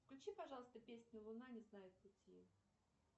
включи пожалуйста песню луна не знает пути